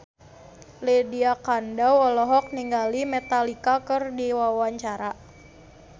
Lydia Kandou olohok ningali Metallica keur diwawancara